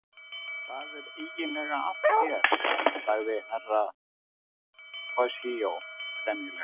Hvað er eiginlega að þér, sagði Herra Toshizo gremjulega.